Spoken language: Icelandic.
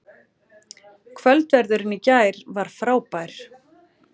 Kvöldverðurinn í gær var frábær